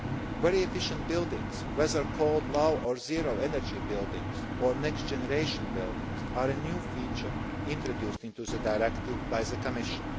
issues. Very efficient buildings, whether they are called low or zero energy buildings, or next generation buildings, are a new feature introduced into the Directive by the Commission.